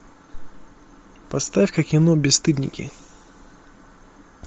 поставь ка кино бесстыдники